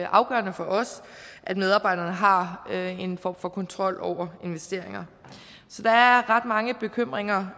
afgørende for os at medarbejderne har en form for kontrol over investeringer der er ret mange bekymringer